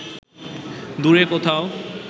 দূরে কোথাও